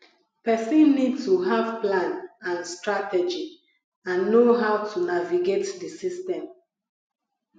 pesin need to have plan and strategy and know how to navigate di system